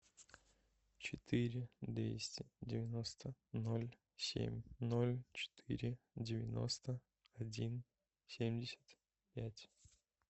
четыре двести девяносто ноль семь ноль четыре девяносто один семьдесят пять